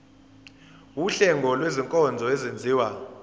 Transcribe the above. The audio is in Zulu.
wuhlengo lwezinkonzo ezenziwa